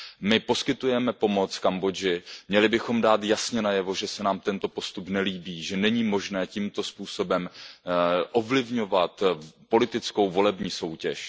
My poskytujeme pomoc Kambodži, měli bychom dát jasně najevo, že se nám tento postup nelíbí, že není možné tímto způsobem ovlivňovat politickou volební soutěž.